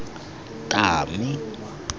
tami